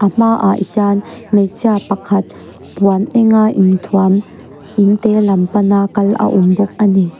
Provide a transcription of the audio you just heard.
hma ah hian hmeichhia pakhat puan enga inthuam in te lam pana kal a awm bawk ani.